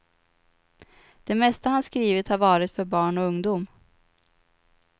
Det mesta han skrivit har varit för barn och ungdom.